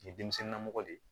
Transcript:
Nin ye denmisɛnnin namɔgɔ de ye